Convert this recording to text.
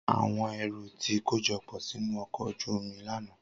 Awọn ẹru ti kojọpọ sinu ọkọ oju omi lana.